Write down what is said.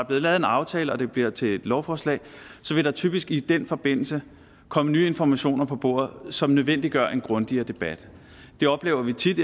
blevet lavet en aftale og den bliver til et lovforslag vil der typisk i den forbindelse komme nye informationer på bordet som nødvendiggør en grundigere debat det oplever vi tit